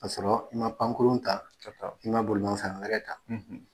Ka sɔrɔ i ma pankurun ta, ka taa, i ma bolimanfɛn wɛrɛ ta